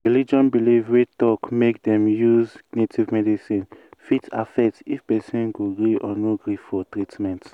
religion belief wey talk make dem use native medicine fit affect if person go gree or no gree for treatment.